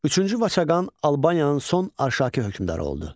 Üçüncü Vaçaqan Albaniyanın son Arşaki hökmdarı oldu.